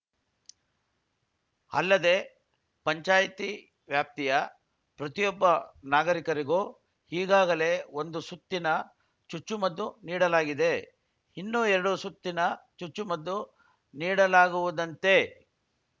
ಅಲ್ಲದೆ ಪಂಚಾಯ್ತಿ ವ್ಯಾಪ್ತಿಯ ಪ್ರತಿಯೊಬ್ಬ ನಾಗರಿಕರಿಗೂ ಈಗಾಗಲೇ ಒಂದು ಸುತ್ತಿನ ಚುಚ್ಚುಮದ್ದು ನೀಡಲಾಗಿದೆ ಇನ್ನೂ ಎರಡು ಸುತ್ತಿನ ಚುಚ್ಚುಮದ್ದು ನೀಡಲಾಗುವುದಂತೆ